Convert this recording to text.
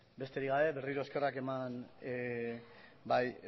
besterik gabe berriro eskerrak eman bai